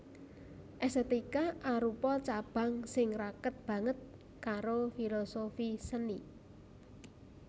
Èstètika arupa cabang sing raket banget karo filosofi seni